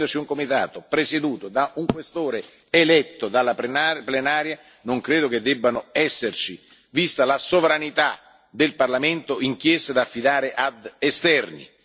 Essendoci un comitato presieduto da un Questore eletto dalla Plenaria, non credo che debbano esserci, vista la sovranità del Parlamento, inchieste da affidare ad esterni.